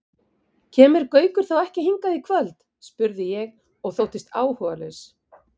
Kemur Gaukur þá ekki hingað í kvöld? spurði ég og þóttist áhugalaus.